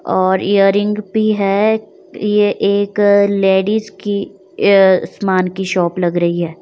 और ईयरिंग भी है यह एक लेडीज की अ सामान की शॉप लग रही है।